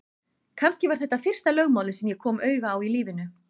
Kannski var þetta fyrsta lögmálið sem ég kom auga á í lífinu.